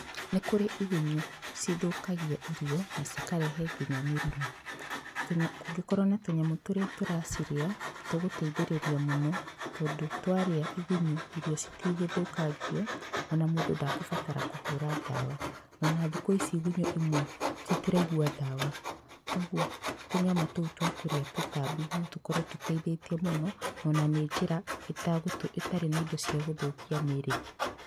Nĩ kũrĩ igunyũ cithũkagia irio na cikarehe nginya mĩrimũ, kũngĩkorwo na tũnyamũ tũria tũracirĩa nĩtũgũteithĩrĩrĩa mũno tondũ twarĩa igunyũ irio citigũthũkangio o na mũndũ ndakũbatara kũhũra ndawa. Ona thiku ici igunyũ imwe citiraigwa ndawa kogwo tũnyamũ tũu twakũrĩa tũtambi no tũkorwo tũteithĩtie mũno o na nĩ njĩra itagũ itarĩ na indo cia gũthũkia mĩĩrĩ.